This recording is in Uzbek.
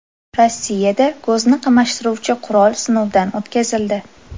Rossiyada ko‘zni qamashtiruvchi qurol sinovdan o‘tkazildi .